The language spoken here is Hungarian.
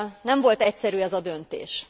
Nem volt egyszerű ez a döntés.